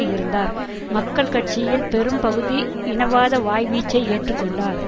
இருந்தார் மக்கள் கட்சியின் பெரும் பகுதி இனவாத வாய்வீச்சை ஏற்று கொண்டார்